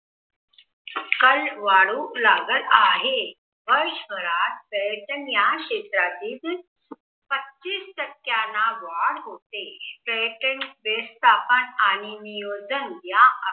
कल वाढू लागत आहे व शहरात पर्यटन ह्या क्षेत्रातील पस्तीस टक्क्यांनी वाढ होते. आणि नियोजन